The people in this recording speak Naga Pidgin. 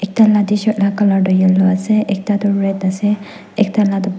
taila tshirt la colour tu yellow ase ekta toh red ase ekta latoh.